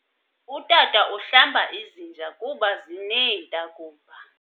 Utata uhlamba izinja kuba zineentakumba.